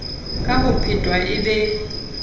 ka ho phetwa e be